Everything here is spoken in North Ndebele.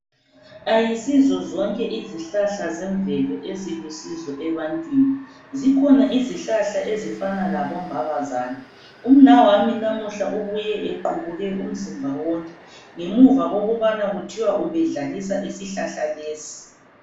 Ayisizozonke izihlahla zemvelo ezilusizo ebantwini. Zikhona izihlahla ezifana labombabazane. Umnawami namuhla ubuye equbuke umzimba wonke ngemuva kokubana kuthiwa ubedlalisa isihlahla lesi.